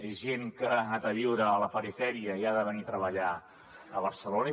és gent que ha anat a viure a la perifèria i ha de venir a treballar a barcelona